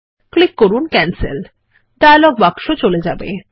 click করুন cancel dialog বাক্স চলে যাবে